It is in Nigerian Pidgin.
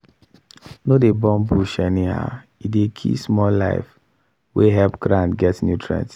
no dey burn bush anyhow e dey kill small life wey help ground get nutrient